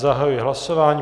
Zahajuji hlasování.